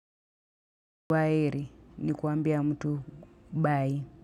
Kwaheri, ni kuambia mtu bye.